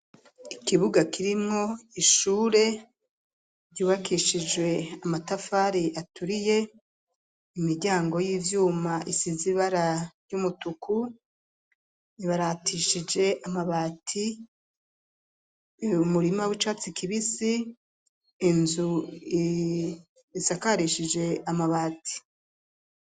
Ikibuga kirimwo ishure ryubakishije amatafari aturiye, imiryango y'ivyuma isize ibara ry'umutuku amabati umurima w'icatsi kibisi inzu isakarishije amabati.